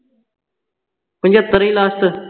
ਪਚੱਤਰ ਹੀ last ਚ